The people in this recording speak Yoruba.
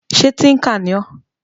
Ṣé tíńkà ni ọ́?